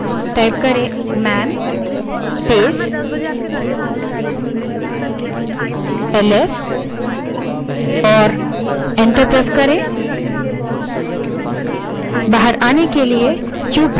ls तर्क के साथ man command type करें जो है type man space ls और enter दबायें